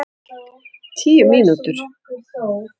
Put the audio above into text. Tíu mínútur?